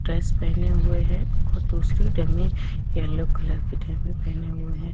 Dress पहने हुए हैं और दूसरी डममी येलो कलर की डममी पहने हुए हैं।